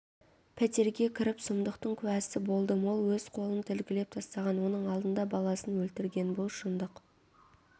пәтерге кіріп сұмдықтың куәсі болдым ол өз қолын тілгілеп тастаған оның алдында баласын өлтірген бұл шындық